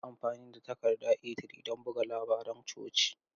Yi amfani da takarda A3 don buga labaran coci.